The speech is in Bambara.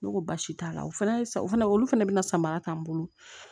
Ne ko basi t'a la o fana ye o fana olu fɛnɛ bɛna samara k'an bolo